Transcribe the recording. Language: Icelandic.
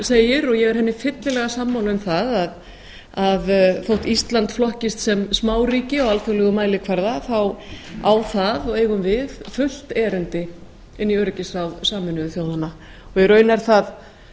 segir og ég er henni fyllilega sammála um það að þótt ísland flokkist sem smáríki á alþjóðlegum mælikvarða á það og eigum við fullt erindi inn í öryggisráð sameinuðu þjóðanna og í raun er það